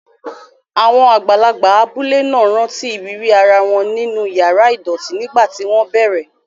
Àwọn àgbàlagbà abúlé náà rántí ìrírí ara wọn nínú yàrá ìdọ̀tí nígbà tí wọ́n bẹ̀rẹ̀.